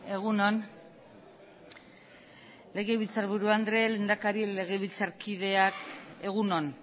egun on legebiltzarburu andre lehendakari legebiltzarkideak egun on